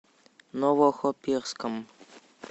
новохоперском